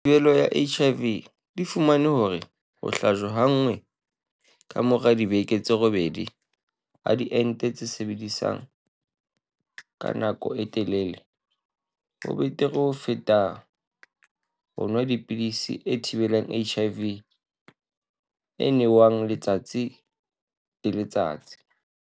Thi-belo ya HIV, di fumane hore ho hlajwa ha nngwe ka mora dibeke tse robedi ha diente tse sebetsang ka nako e telele ho betere ho feta ho nwa pidisi e thibelang HIV e nwewang letsatsi le letsatsi.